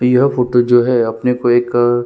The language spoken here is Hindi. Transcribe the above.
यह फोटो जो है अपने कोई एक--